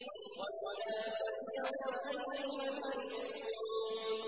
وَامْتَازُوا الْيَوْمَ أَيُّهَا الْمُجْرِمُونَ